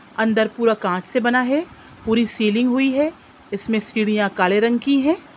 अंदर पूरा कांच से बना है। पूरी सिलिंग हुई है। इसमें सीढ़ियां काले रंग की हैं।